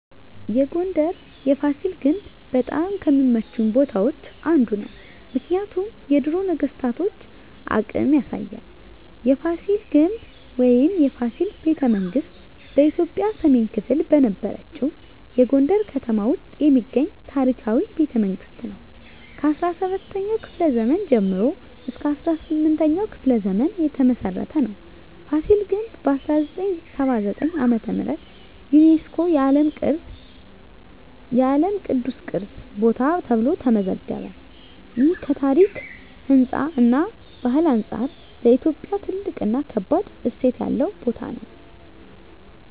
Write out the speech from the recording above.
የጎንደር የፋሲል ግንብ በጣም ከሚመቹኝ ቦታዎች አንዱ ነው። ምክንያቱም የድሮ ነገስታቶን አቅም ያሳያል። የፋሲል ግንብ ወይም “የፋሲል ቤተመንግስት ” በኢትዮጵያ ሰሜን ክፍል በነበረችው የጎንደር ከተማ ውስጥ የሚገኝ ታሪካዊ ቤተመንግስት ነው። ከ17ኛው ክፍለ ዘመን ጀምሮ እስከ 18ኛው ክፍለ ዘመን የተመሰረተ ነው። ፋሲል ግንብ በ1979 ዓ.ም. ዩነስኮ የዓለም ቅዱስ ቅርስ ቦታ ተብሎ ተመዘገበ። ይህ ከታሪክ፣ ህንፃ እና ባህል አንጻር ለኢትዮጵያ ትልቅ እና ከባድ እሴት ያለው ቦታ ነው።